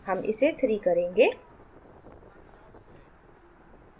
हम इसे 3 करेंगे